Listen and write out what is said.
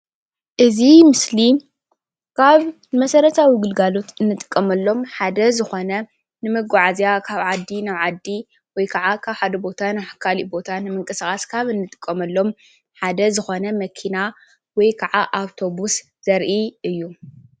እዚ ምስሊ ካብ መሰረታዊ ግልጋሎት እንጥቀመሎም ሓደ ዝኾነ ንመጓዓዝያ ካብ ዓዲ ናብ ዓዲ ወይ ክዓ ካብ ሓደ ቦታ ናብ ካሊእ ቦታ ንምንቅስቓስ ካብ እንጥቀመሎም ሓደ ዝኾነ መኪና ወይ ክዓ ኣብቶብስ ዘረኢ እዩ ።